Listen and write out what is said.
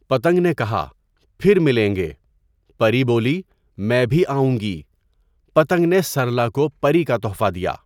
پتنگ نے کہا، پھر ملیں گے۔ پری بولی، میں بھی آؤں گی۔ پتنگ نے سرلا کو پری کا تحفہ دیا!